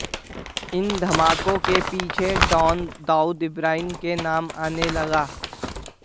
इन धमाकों के पीछे डॉन दाऊद इब्राहिम का नाम आने लगा